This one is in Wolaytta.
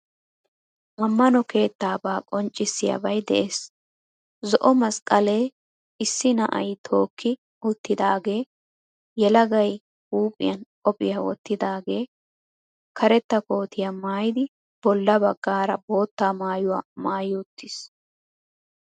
Ammano keettaabaa qonccissiyabay de'ees. Zo"o masqqalee issi na'ay tookki uttidaagee yelagay huuphphiyan qophiya wottidaagee karetta kootiya maayidi bolla baggaara bootta maayuwa maayi uttiis.